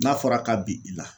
N'a fɔra ka bi i la